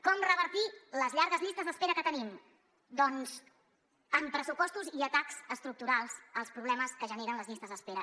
com revertir les llargues llistes d’espera que tenim doncs amb pressupostos i atacs estructurals als problemes que generen les llistes d’espera